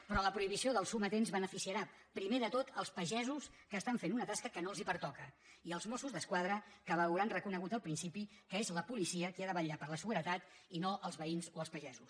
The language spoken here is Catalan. però la prohibició dels sometents beneficiarà primer de tot els pagesos que estan fent una tasca que no els pertoca i els mossos d’esquadra que veuran reconegut el principi que és la policia qui ha de vetllar per la seguretat i no els veïns o els pagesos